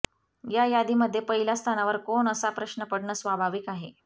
या यादीमध्ये पहिल्या स्थानावर कोण असा प्रश्न पडणं स्वाभाविक आहे